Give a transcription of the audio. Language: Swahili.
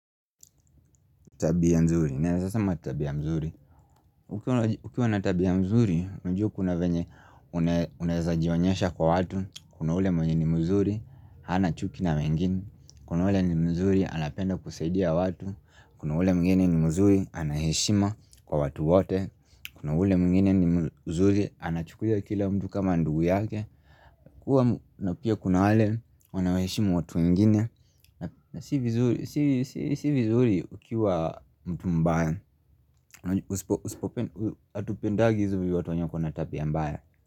Tabia nzuri, naweza sema tabia mzuri Ukiwa natabia nzuri, najua kuna venye unawezajionyesha kwa watu Kuna ule mwenye ni mzuri, hanachuki na wengine Kuna ule ni mzuri, anapenda kusaidia watu Kuna ule mwingine ni mzuri, anaheshima kwa watu wote Kuna ule mwingine ni mzuri, anachukulia kila mtu kama ndugu yake na pia kuna wale, wanaoheshimu watu wengine si vizuri ukiwa mtu mbaya hatupendagi watu wenye wako na tabia mbaya.